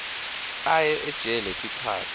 aye ejele sikhatsi